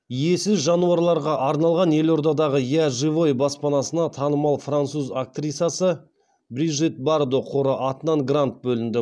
иесіз жануарларға арналған елордадағы я живой баспанасына танымал француз актрисасы брижит бардо қоры атынан грант бөлінді